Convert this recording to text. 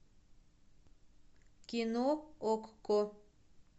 кино окко